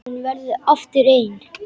Og hún verður aftur ein.